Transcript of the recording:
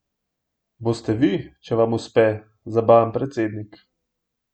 Boste vi, če vam uspe, zabaven predsednik?